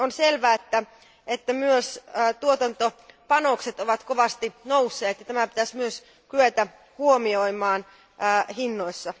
On selvää, että myös tuotantopanokset ovat kovasti nousseet ja tämä pitäisi myös kyetä huomioimaan hinnoissa.